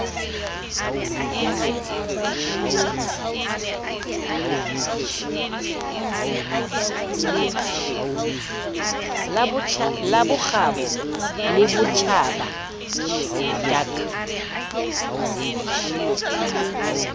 la bokgabo le botjhaba dac